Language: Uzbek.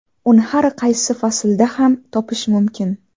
Uni har qaysi faslda ham topish mumkin.